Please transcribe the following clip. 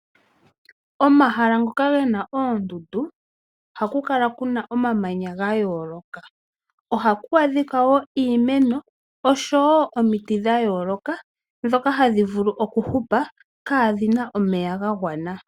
Omahala ngoka gena oondundu ohaku kala kuna omamanya gayooloka, ohaku adhika kuna iimeno oshowo omiti dhayooloka ndhoka hadhi vulu okuhupa kaadhina omeya gagwana.